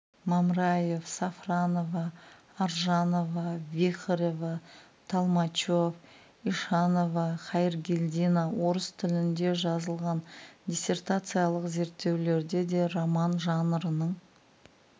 мамраев сафронова аржанова вихорева толмачев ишанова хайргельдина орыс тілінде жазылған диссертациялық зерттеулерде де роман жанрының